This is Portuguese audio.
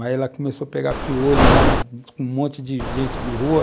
Aí ela começou a pegar piolho lá com um monte de gente de rua.